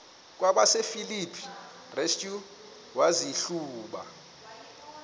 kwabasefilipi restu wazihluba